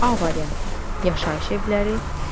A variantı: yaşayış evləri,